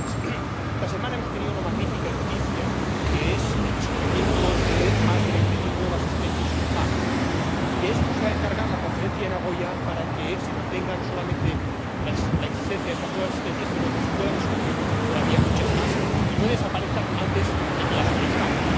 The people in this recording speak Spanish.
Señora Presidenta, esta semana hemos tenido una magnífica noticia, que es el descubrimiento de más de veinte mil nuevas especies en el mar. Y de esto se va a encargar la Conferencia de Nagoya, para que no solo se mantenga la existencia de estas nuevas especies, sino que se puedan descubrir todavía muchas más y no desaparezcan antes de que las conozcamos.